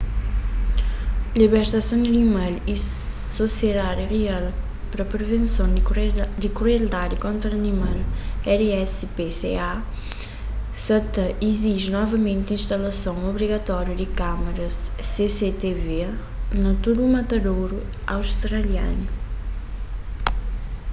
libertason di animal y sosiedadi real pa privenson di krueldadi kontra animal rspca sa ta iziji novamenti instalason obrigatóriu di kâmaras cctv na tudu matadoru australianu